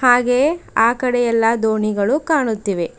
ಹಾಗೆಯೆ ಆ ಕಡೆಯಲ್ಲ ದೋಣಿಗಳು ಕಾಣುತ್ತಿವೆ.